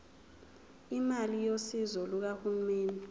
imali yosizo lukahulumeni